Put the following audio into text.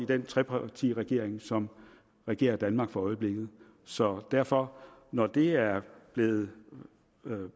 den trepartiregeringen som regerer danmark for øjeblikket så derfor når det er blevet